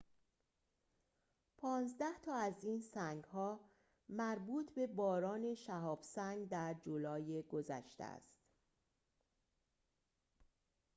پانزده تا از این سنگ‌ها مربوط به باران شهاب سنگ در جولای گذشته است